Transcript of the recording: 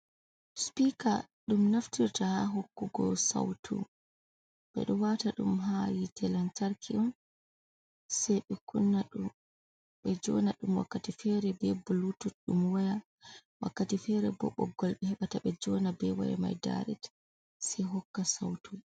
Sipiika ɗo naftirta haa hokkugo sawtu, ɓe ɗo waata ɗum haa yiite lantarki on sey ɓe joona ɗum wakkati feere bee buluutut, ɗum waya, wakkati feere boo boggol ɓe heɓata ɓe joona ɓe waya mai daaret sey hokka sawtu